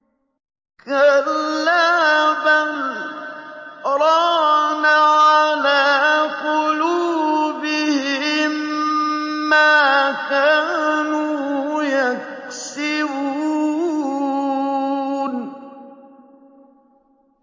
كَلَّا ۖ بَلْ ۜ رَانَ عَلَىٰ قُلُوبِهِم مَّا كَانُوا يَكْسِبُونَ